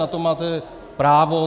Na to máte právo.